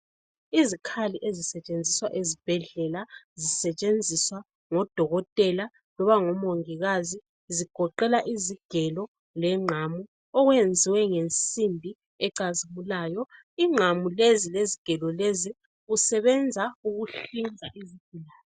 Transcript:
Izikhali ezisetshenziswa ezibhedlela zisetshenziswa ngodokotela loba ngomongikazi zigoqela izigelo lengqamu okwenziwe ngensimbi ecazimulayo. Ingqamu lezi lezigelo lezi kusebenza ukuhlinza izigulane